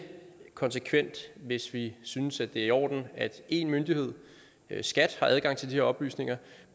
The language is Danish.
konsekvent hvis vi synes det er i orden at en myndighed skat har adgang til de her oplysninger